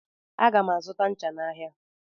Aga m azụta ncha n'ahịa.